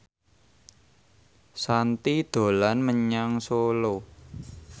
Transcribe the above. Shanti dolan menyang Solo